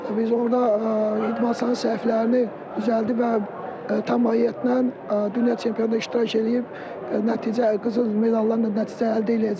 Biz orda idmançıların səhvlərini düzəldib və tam əhatlə dünya çempionatında iştirak eləyib nəticə, qızıl medallarla nəticə əldə eləyəcəyik.